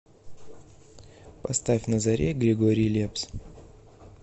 поставь на заре григорий лепс